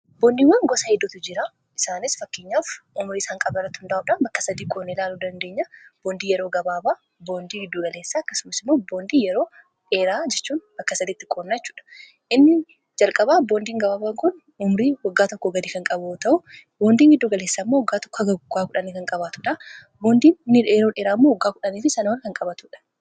boondiiwwaan gosa hiddootu jira isaanis fakkiinyaaf umrii isaan qabaratu hundaa'uudhaan bakka sadii qoon ilaalu dandeenya boondii yeroo gabaabaa boondii giddugaleessaa akkasumasimuo boondii yeroo dheeraa jechuun bakka sadiitti qoonnachuudha inni jalqaba boondiin gabaabaa kon umrii waggaa tokko gaii kan qaboo ta'u boondiin giddugaleessa immoo waggaa to gg 1 kan qabaatudha boondii nidheeroon heraamuu waggaa 1fi sanawan kan qabatudha